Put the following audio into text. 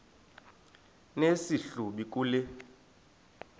nesi hlubi kule